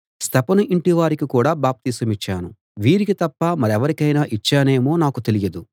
స్తెఫను ఇంటివారికి కూడా బాప్తిసమిచ్చాను వీరికి తప్ప మరెవరికైనా ఇచ్చానేమో నాకు తెలియదు